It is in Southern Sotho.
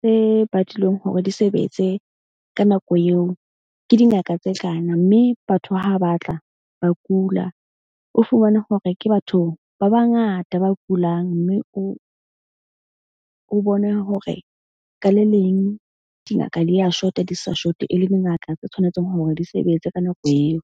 tse badilweng hore di sebetse ka nako eo ke dingaka tse kana. Mme batho ha ba tla ba kula. O fumane hore ke batho ba bangata ba kulang. Mme o bone hore ka le leng dingaka di ya shota, di sa short-e le dingaka tse tshwanetseng hore di sebetse ka nako eo.